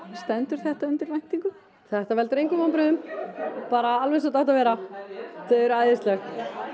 stendur þetta undir væntingum þetta veldur engum vonbrigðum alveg eins og þetta átti að vera þau eru æðisleg